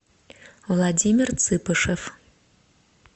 владимир цыпышев